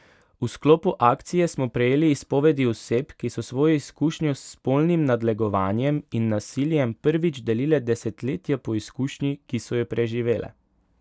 V sklopu akcije smo prejeli izpovedi oseb, ki so svojo izkušnjo s spolnim nadlegovanjem in nasiljem prvič delile desetletja po izkušnji, ki so jo preživele.